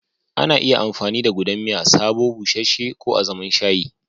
Ana iya amfani da gudan miya sabo, busasshe ko azaman shayi.